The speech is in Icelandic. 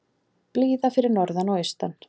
Blíða fyrir norðan og austan